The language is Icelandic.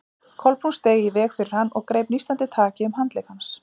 Kolbrún steig í veg fyrir hann og greip nístandi taki um handlegg hans.